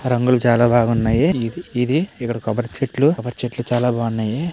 రంగులు చాలా బాగున్నాయి ఇది ఇక్కడ కొబ్బరి చెట్లు కొబ్బరి చెట్లు బాగున్నాయి.